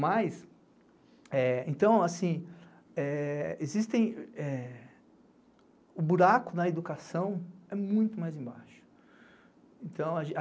Mas, eh, então, assim, o buraco na educação é muito mais embaixo.